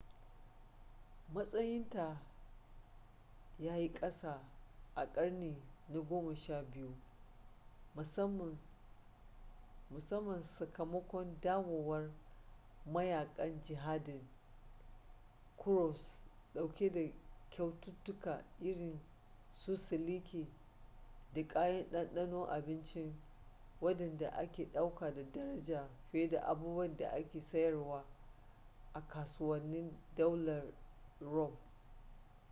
matsayinta ya yi kasa a ƙarni na goma sha biyu musamman sakamakon dawowar mayakan jihadin kuros dauke da kyaututtuka irin su siliki da kayan ɗanɗanon abinci waɗanda ake ɗauka da daraja fiye da abubuwan da ake sayarwa a kasuwannin daular rum